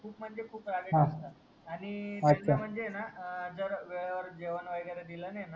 खूप म्हणजे खूप रागीट असतात आणि त्यांना म्हणजे हाय न जर वेडेवर जेवण वागेरे दिल नाही ना